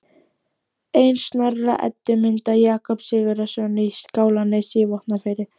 Ein Snorra-Eddu mynda Jakobs Sigurðssonar í Skálanesi í Vopnafirði